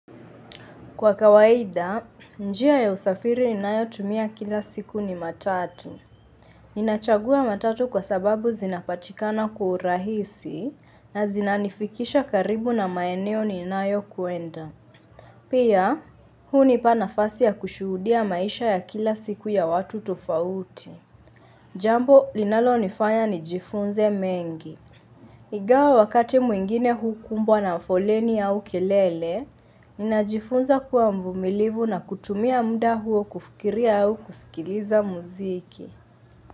Kwa kawaida, njia ya usafiri ninayotumia kila siku ni matatu. Ninachagua matatu kwa sababu zinapatikana kwa urahisi na zinanifikisha karibu na maeneo ninayokwenda. Pia, hunipa nafasi ya kushuhudia maisha ya kila siku ya watu tofauti. Jambo, linalonifanya nijifunze mengi. Ingawa wakati mwingine hukumbwa na foleni au kelele, ninajifunza kuwa mvumilivu na kutumia muda huo kufikiria au kusikiliza muziki.